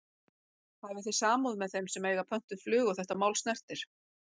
Hafi þið samúð með þeim sem að eiga pöntuð flug og þetta mál snertir?